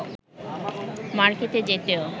মার্কেটে যেতেও